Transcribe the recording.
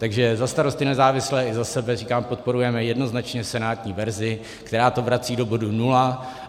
Takže za Starosty, nezávislé i za sebe říkám, podporujeme jednoznačně senátní verzi, která to vrací do bodu nula.